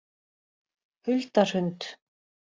Hulda Hrund